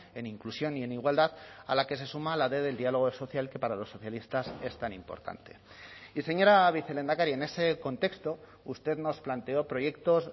en inclusión y en igualdad a la que se suma a la d del diálogo social que para los socialistas es tan importante y señora vicelehendakari en ese contexto usted nos planteó proyectos